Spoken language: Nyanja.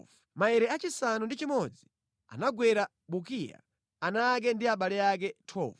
Maere achisanu ndi chimodzi anagwera Bukiya, ana ake ndi abale ake. 12